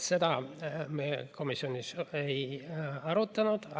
Seda me komisjonis ei arutanud.